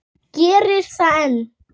Gerir það enn.